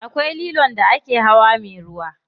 Akwai lilon da ake hawa me ruwa.